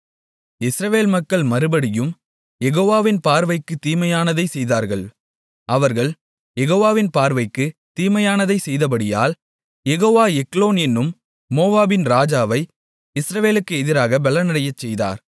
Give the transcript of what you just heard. இஸ்ரவேல் மக்கள் மறுபடியும் யெகோவாவின் பார்வைக்குத் தீமையானதைச் செய்தார்கள் அவர்கள் யெகோவாவின் பார்வைக்குத் தீமையானதைச் செய்தபடியால் யெகோவா எக்லோன் என்னும் மோவாபின் ராஜாவை இஸ்ரவேலுக்கு எதிராக பெலனடையச் செய்தார்